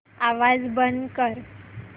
आवाज बंद कर